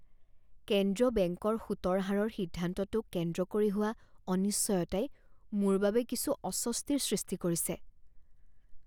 কেন্দ্ৰীয় বেংকৰ সুতৰ হাৰৰ সিদ্ধান্তটোক কেন্দ্ৰ কৰি হোৱা অনিশ্চয়তাই মোৰ বাবে কিছু অস্বস্তিৰ সৃষ্টি কৰিছে।